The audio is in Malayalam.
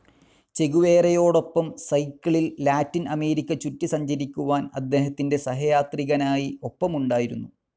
ചെഗുവേരയോടൊപ്പം സൈക്കിളിൽ ലാറ്റിൻ അമേരിക്ക ചുറ്റി സഞ്ചരിക്കുവാൻ അദ്ദേഹത്തിൻ്റെ സഹയാത്രികനായി ഒപ്പമുണ്ടായിരുന്നു.